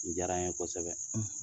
Ni diyara n ye kosɛbɛ.